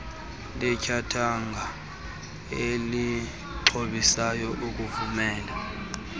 letyathanga elixhobisayo ukuvumela